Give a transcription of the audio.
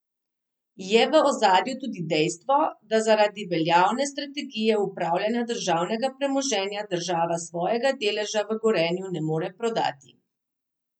Je v ozadju tudi dejstvo, da zaradi veljavne strategije upravljanja državnega premoženja država svojega deleža v Gorenju ne more prodati?